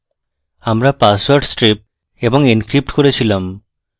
আমরা password stripped এবং encrypted করেছিলাম